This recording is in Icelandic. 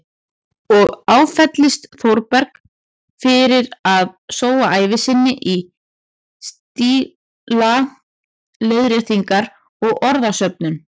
Og áfellist Þórberg fyrir að sóa ævi sinni í stílaleiðréttingar og orðasöfnun.